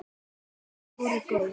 En þau voru góð.